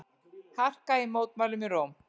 Harka í mótmælum í Róm